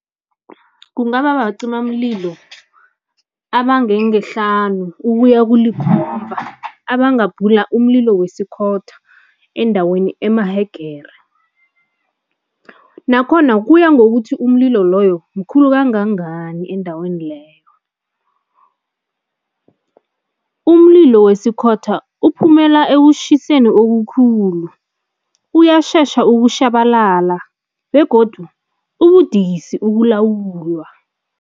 Kungaba bacimamlilo abangengehlanu ukuya abangabhula umlilo wesikhotha endaweni emahegere. Nakhona kuya ngokuthi umlilo loyo mkhulu kangangani endaweni leyo. Umlilo wesikhotha uphumela ekushiseni okukhulu, uyashesha ukushabalala begodu ubudisi ukulawulwa.